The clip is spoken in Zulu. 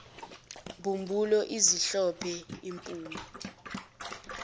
mbumbulu ezimhlophe iphume